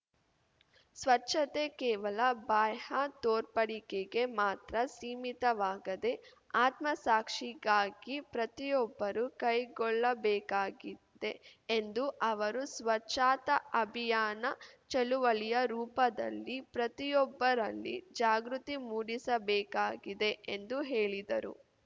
ಸ್ವಚ್ಛತೆ ಕೇವಲ ಬಾಹ್ಯ ತೋರ್ಪಡಿಕೆಗೆ ಮಾತ್ರ ಸೀಮಿತವಾಗದೆ ಆತ್ಮಸಾಕ್ಷಿಗಾಗಿ ಪ್ರತಿಯೊಬ್ಬರೂ ಕೈಗೊಳ್ಳಬೇಕಾಗಿದೆ ಎಂದು ಅವರು ಸ್ವಚ್ಛತಾ ಅಭಿಯಾನ ಚಳುವಳಿಯ ರೂಪದಲ್ಲಿ ಪ್ರತಿಯೊಬ್ಬರಲ್ಲಿ ಜಾಗೃತಿ ಮೂಡಿಸಬೇಕಾಗಿದೆ ಎಂದು ಹೇಳಿದರು